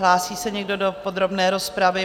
Hlásí se někdo do podrobné rozpravy?